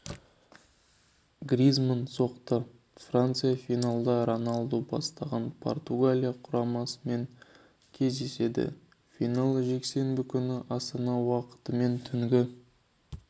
гризманн соқты франция финалда роналду бастаған португалия құрамасымен кездеседі финал жексенбі күні астана уақытымен түнгі